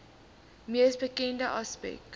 mees bekende aspek